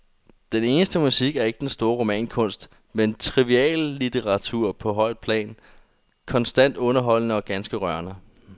Den eneste musik er ikke den store romankunst, men triviallitteratur på højt plan, konstant underholdende og ganske rørende.